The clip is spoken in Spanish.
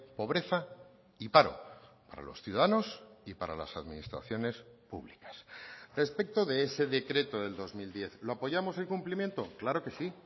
pobreza y paro para los ciudadanos y para las administraciones públicas respecto de ese decreto del dos mil diez lo apoyamos el cumplimiento claro que sí